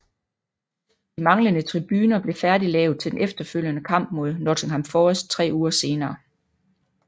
De manglende tribuner blev færdiglavet til den efterfølgende kamp mod Nottingham Forest tre uger senere